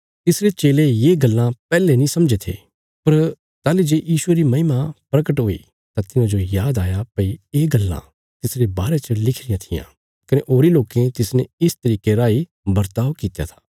तिसरे चेले ये गल्लां पैहले नीं समझे थे पर तंजे यीशुये री महिमा प्रगट हुई तां तिन्हांजो याद आया भई ये गल्लां तिसरे बारे च लिखी रियां थिआं कने होरीं लोकें तिसने इस तरिके राई बर्ताब कित्या था